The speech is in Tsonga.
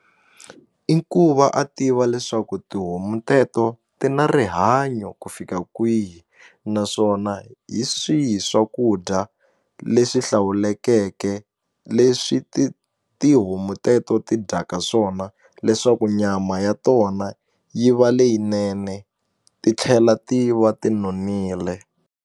I ku va a tiva leswaku tihomu teto ti na rihanyo ku fika kwihi naswona hi swihi swakudya leswi hlawulekeke ku leswi ti tihomu teto ti dyaka swona leswaku nyama ya tona yi va leyinene ti tlhela ti va ti nonile.